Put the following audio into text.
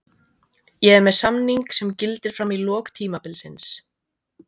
Ég er með samning sem gildir fram í lok tímabilsins.